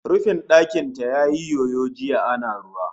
Rufin ɗakin ta yayi yoyo jiya ana ruwa